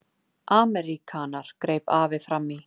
Ameríkanar, greip afi fram í.